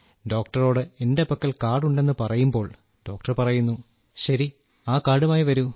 ഡോക്ടറോട് എന്റെ പക്കൽ കാർഡ് ഉണ്ടെന്നു പറയുമ്പോൾ ഡോക്ടർ പറയുന്നു ശരി ആ കാർഡുമായി വരൂ